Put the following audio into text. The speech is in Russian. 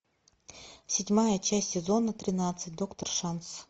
седьмая часть сезона тринадцать доктор шанс